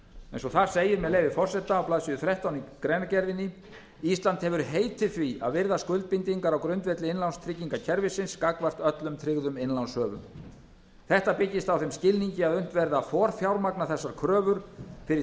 eins og þar segir með leyfi forseta á blaðsíðu þrettán í greinargerðinni ísland hefur heitið því að virða skuldbindingar á grundvelli innlánstryggingakerfisins gagnvart öllum tryggðum innlánshöfum þetta byggist á þeim skilningi að unnt verði að forfjármagna þessar kröfur fyrri